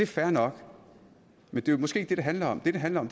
fair nok men det er måske ikke det det handler om det det handler om